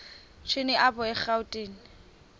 shini apho erawutini